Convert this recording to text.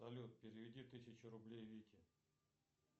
салют переведи тысячу рублей вике